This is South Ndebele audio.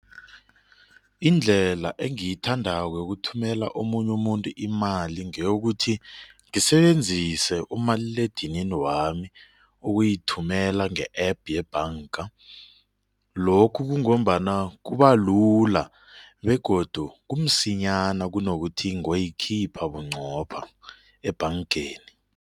Indlela engiyithandako yokuthumela omunye umuntu imali ngeyokuthi ngisebenzise umaliledinini wami ukuyithumela nge-APP yebhanga lokhu kungombana kubalula begodu kumsinyana kunokuthi ngoyikhipha bunqopha ebhangeni.